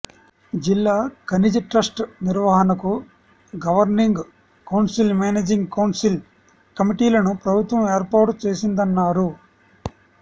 జిల్లా ఖనిజ ట్రస్ట్ నిర్వహణకు గవర్నింగ్ కౌన్సిల్ మేనేజింగ్ కౌన్సిల్ కమిటీలను ప్రభుత్వం ఏర్పాటు చేసిందన్నారు